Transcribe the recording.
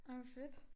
Ej hvor fedt